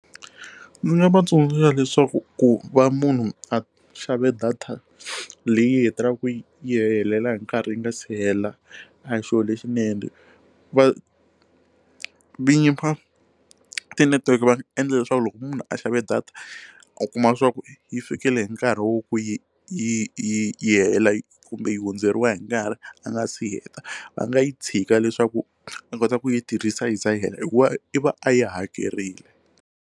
Ndzi nga va tsundzuxa leswaku ku va munhu a xavile data leyi hetelelaka yi yi helela hi nkarhi yi nga si hela a hi xilo lexinene va vinyi va ti network va nga endla leswaku loko munhu a xavile data u kuma swa ku yi fikele hi nkarhi wo ku yi yi yi yi hela yi kumbe yi hundzeriwa hi nkarhi a nga si heta va nga yi tshika leswaku a kota ku yi tirhisa yi ze yi hela hikuva i va a yi hakerile.